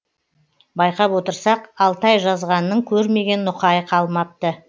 байқап отырсақ алтай жазғанның көрмеген нұқайы қалмапты